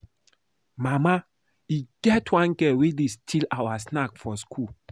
Mama, e get one girl wey dey steal our snacks for school